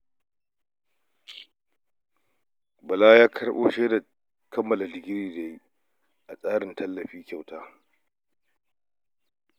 Bala ya karɓo shaidar kammala digiri da ya yi a tsarin tallafin karatu kyauta